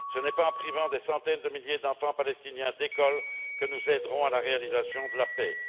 Ce n'est pas en privant des centaines de milliers d'enfants palestiniens d'école que nous contribuerons à la réalisation de la paix.